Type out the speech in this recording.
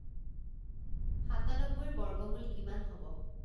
সাতানব্বৈৰ বৰ্গমূল কিমান হ'ব